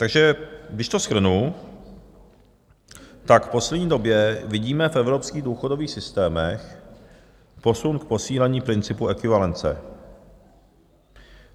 Takže když to shrnu, tak v poslední době vidíme v evropských důchodových systémech posun k posílení principu ekvivalence.